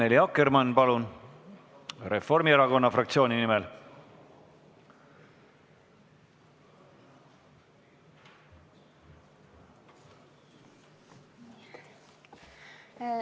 Annely Akkermann, palun, Reformierakonna fraktsiooni nimel!